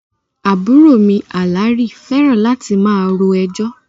Àbúrò mi Àlàrí fẹ́ràn láti máa ro ẹjọ́